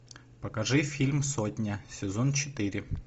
покажи фильм сотня сезон четыре